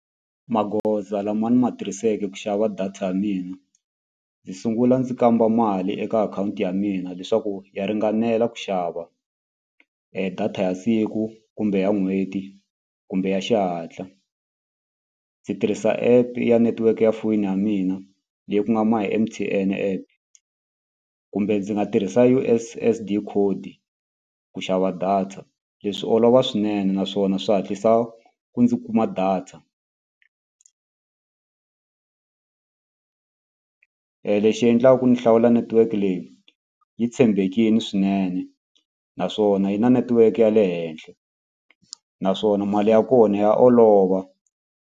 Magoza lama ni ma tirhiseke ku xava data ya mina ndzi sungula ndzi kamba mali eka akhawunti ya mina leswaku ya ringanela ku xava data ya siku kumbe ya n'hweti kumbe ya xihatla. Ndzi tirhisa app ya network ya foyini ya mina leyi ku nga my M_T_N app kumbe ndzi nga tirhisa U_S_S_D code ku xava data leswi olova swinene naswona swa hatlisa ku ni kuma data. Lexi endlaka ndzi hlawula network leyi yi tshembekile swinene naswona yi na netiweke ya le henhla naswona mali ya kona ya olova.